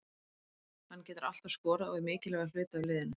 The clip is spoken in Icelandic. Hann getur alltaf skorað og er mikilvægur hluti af liðinu.